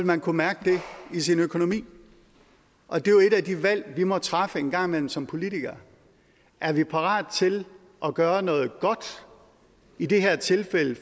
man kunne mærke det i sin økonomi og det er jo et af de valg som vi må træffe en gang imellem som politikere er vi parate til at gøre noget godt i det her tilfælde